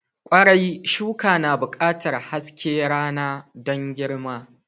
Kwarai, shuka na buƙatar haske rana don girma.